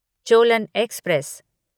Cholan express